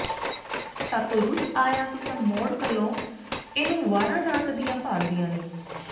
ਸਾਥੋਂ ਰੁਸ ਆਇਆ ਤੁਸਾਂ ਮੋੜ ਘੱਲੋ ਇਹਨੂੰ ਵਾਹਰਾਂ ਰਾਤ ਦਿੰਹ ਭਾਲਦੀਆਂ ਨੀ